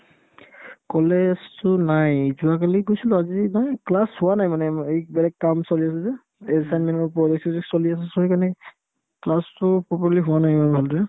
কলেজতো নাই যোৱাকালি গৈছিলো আজি নাই class হোৱা নাই মানে এই বেলেগ কাম চলি আছে যে assignment ৰ project চজেক্ট চলি আছে so সেইকাৰণে class তো properly হোৱা নাই ইমান ভালদৰে